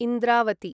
Indravati